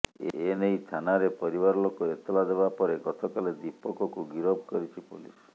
ଏ ନେଇ ଥାନାରେ ପରିବାରଲୋକ ଏତଲା ଦେବା ପରେ ଗତକାଲି ଦୀପକକୁ ଗିରଫ କରିଛି ପୋଲିସ